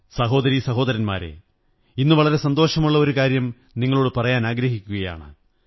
സഹോദരീസഹോദരന്മാരേ ഇന്ന് വളരെ സന്തോഷമുള്ള ഒരു കാര്യം നിങ്ങളോടു പറയാനാഗ്രഹിക്കയാണ്